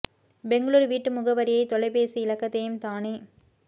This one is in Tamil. பெங்களுர் வீட்டு முகவரியையும் தொலைபேசி இலக்கத்தையும் தானே